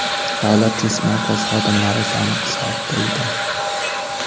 Davlat test markazi xodimlari soni qisqartirildi.